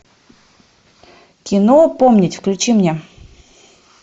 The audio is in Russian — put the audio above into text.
кино помнить включи мне